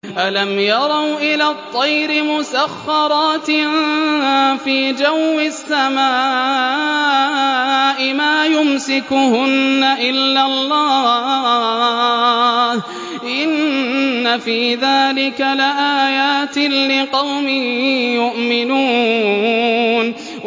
أَلَمْ يَرَوْا إِلَى الطَّيْرِ مُسَخَّرَاتٍ فِي جَوِّ السَّمَاءِ مَا يُمْسِكُهُنَّ إِلَّا اللَّهُ ۗ إِنَّ فِي ذَٰلِكَ لَآيَاتٍ لِّقَوْمٍ يُؤْمِنُونَ